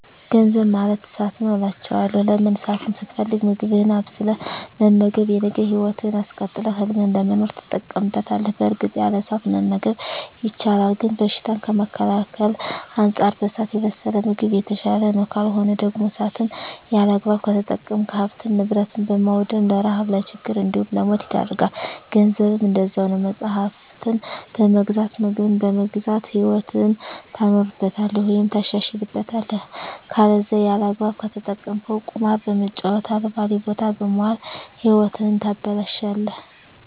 ገንዘብ ማለት እሳት ነዉ አላቸዋለሁ። ለምን እሳትን ስትፈልግ ምግብህን አብስለህ በመመገብ የነገ ህይወትህን አስቀጥለህ ህልምህን ለመኖር ትጠቀምበታለህ በእርግጥ ያለ እሳት መመገብ ይቻላል ግን በሽታን ከመከላከል አንፃር በእሳት የበሰለ ምግብ የተሻለ ነዉ። ካልሆነ ደግሞ እሳትን ያለአግባብ ከተጠቀምክ ሀብትን ንብረት በማዉደም ለረሀብ ለችግር እንዲሁም ለሞት ይዳርጋል። ገንዘብም እንደዛዉ ነዉ መፅሀፍትን በመግዛት ምግብን በመግዛት ህይወትህን ታኖርበታለህ ወይም ታሻሽልበታለህ ከለዛ ያለአግባብ ከተጠቀምከዉ ቁማር በመጫወት አልባሌ ቦታ በመዋል ህይወትህን ታበላሸለህ።